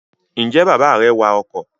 Ǹjẹ́ bàbá rẹ wa ọkọ̀?